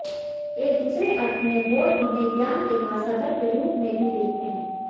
एक दूसरे अर्थ में बौद्ध इन्हें ज्ञान के महासागर के रूप में भी देखते हैं